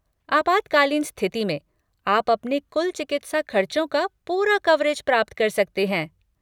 आपातकालीन स्थिति में, आप अपने कुल चिकित्सा खर्चों का पूरा कवरेज प्राप्त कर सकते हैं।